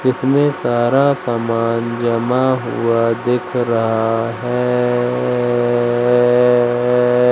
इसमें सारा सामान जमा हुआ दिख रहा है--